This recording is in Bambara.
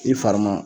I fari ma